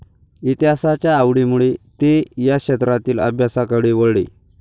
इतिहासाच्या आवडीमुळे ते या क्षेत्रातील अभ्यासाकडे वळले.